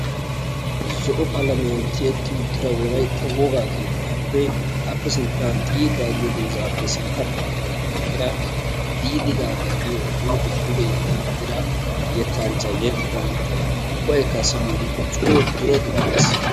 Zo'o qalamiyaan tiyyeti uttida Wolaytta woga keettappe appe sintta xiidda giyo doozappe sintta baggan eqqida Diidi Gaaga giyo huuphiya duge yeddi uttida yettanchchay yexxido yettay ubbaykka siyyiyode coo dura dura gees.